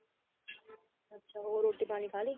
ਅੱਛਾ ਹੋਰ ਰੋਟੀ ਪਾਣੀ ਖਾ ਲਈ